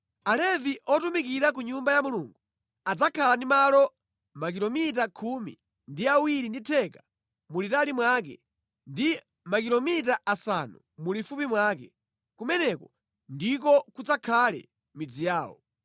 Alevi otumikira ku Nyumba ya Mulungu adzakhala ndi malo a makilomita khumi ndi awiri ndi theka mulitali mwake ndi makilomita asanu mulifupi mwake. Kumeneko ndiko kudzakhale midzi yawo.